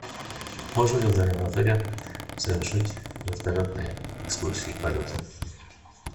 можно ли в данном отеле совершить вертолетные экскурсии полеты